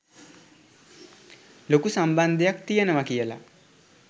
ලොකු සම්බන්ධයක් තියෙනවා.කියල.